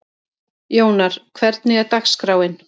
Jónar, hvernig er dagskráin?